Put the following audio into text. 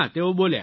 તેઓ બોલ્યા